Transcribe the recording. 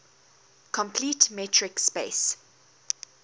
complete metric space